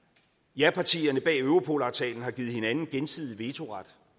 japartierne bag europolaftalen har givet hinanden gensidig vetoret